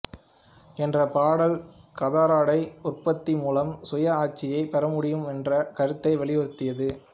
என்ற பாடல் கதராடை உற்பத்தி மூலம் சுய ஆட்சியை பெறமுடியுமென்ற கருத்தை வலியுறுத்தியது